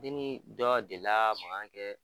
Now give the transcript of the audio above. Ne ni dɔ delila ka mankan kɛ.